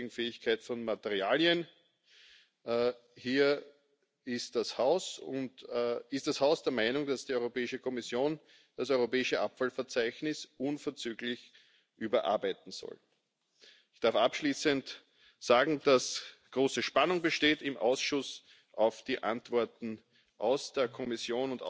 the substitution of materials containing substances of concern as early as the design phase. The Council underlines that it is important for end of waste criteria to be implemented effectively and favours the establishment of guidelines that allow a clear